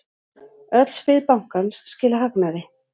Öll svið bankans skila hagnaði.